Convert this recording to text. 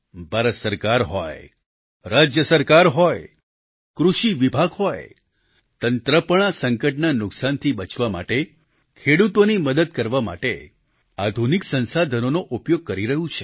ભારત સરકાર હોય રાજ્ય સરકાર હોય કૃષિ વિભાગ હોય તંત્ર પણ આ સંકટના નુકસાનથી બચવા માટે ખેડૂતોની મદદ કરવા માટે આધુનિક સંસાધનોનો ઉપયોગ કરી રહ્યું છે